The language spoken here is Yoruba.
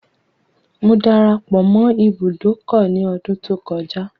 Mo darapọ̀ mọ́ ibùdókọ̀ ní ọdún tó kọjá.